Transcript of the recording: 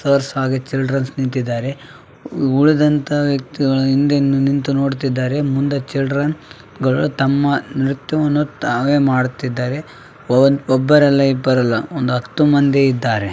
''Teachers ಹಾಗೂ childrens ನಿಂತಿದ್ದಾರೆ. ಉಳಿದಂತ ವ್ಯಕ್ತಿಗಳು ಹಿಂದೆಯಿಂದ ನಿಂತು ನೋಡುತ್ತಿದ್ದಾರೆ ಮುಂದೆ ಚಿಲ್ಡೆನ್‌ಗಳು ತಮ್ಮ ನೃತ್ಯವನ್ನು ತಾವೇ ಮಾಡುತ್ತಿದ್ದಾರೆ ಒಬ್ಬರು ಅಲ್ಲಾ ಇಬ್ಬರು ಅಲ್ಲಾ ಒಂದು ಹತ್ತು ಮಂದಿ ಇದ್ದಾರೆ.''